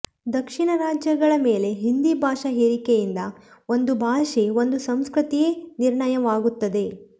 ದಕ್ಷಿಣ ರಾಜ್ಯಗಳ ಮೇಲೆ ಹಿಂದಿ ಭಾಷಾ ಹೇರಿಕೆಯಿಂದ ಒಂದು ಭಾಷೆ ಒಂದು ಸಂಸ್ಕೃತಿಯೇ ನಿರ್ನಾಣವಾಗುತ್ತದೆ